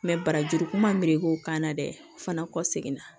barajuru kun ma meleke o kan na dɛ o fana kɔ seginna